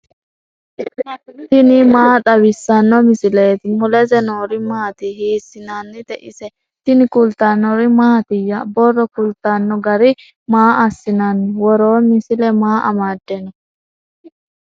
tini maa xawissanno misileeti ? mulese noori maati ? hiissinannite ise ? tini kultannori mattiya? borro kulittanno garinni maa asi'nanni? Woroo misile maa amadde noo?